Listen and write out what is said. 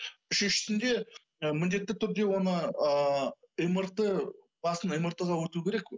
үшіншісінде міндетті түрде оны ыыы мрт басын мрт ға өту керек